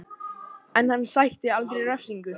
En hann sætti aldrei refsingu